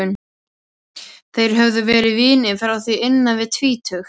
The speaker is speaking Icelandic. Þeir höfðu verið vinir frá því innan við tvítugt.